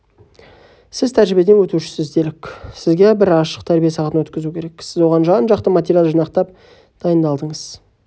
сіз птәжірибеден өтушісіз делік сізге бір ашық тәрбие сағатын өткізу керек сіз оған жан-жақты материал жинақтап дайындалдыңыз